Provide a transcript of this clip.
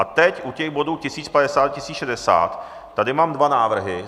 A teď u těch bodů 1050, 1060 tady mám dva návrhy.